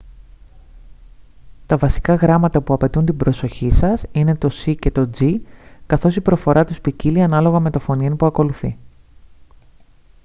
τα βασικά γράμματα που απαιτούν την προσοχή σας είναι το c και το g καθώς η προφορά τους ποικίλλει ανάλογα με το φωνήεν που ακολουθεί